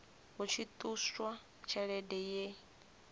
hu tshi ṱuswa tshelede ye